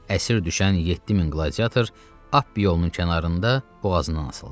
Əsir düşən 7 min qladiator Ap yolunun kənarında boğazından asıldı.